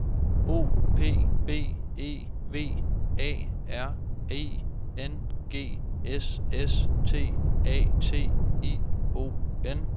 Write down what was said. O P B E V A R I N G S S T A T I O N